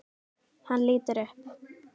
Hann lítur upp.